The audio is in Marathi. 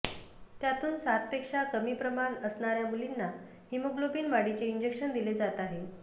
त्यातून सातपेक्षा कमी प्रमाण असणाऱ्या मुलींना हिमोग्लोबिन वाढीचे इंजेक्शन दिले जात आहे